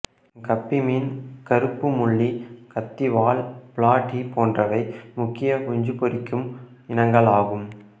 கப்பி மீன் கறுப்பு மொல்லி கத்திவால் பிளாட்டி போன்றவை முக்கிய குஞ்சு பொரிக்கும் இனங்களாகும்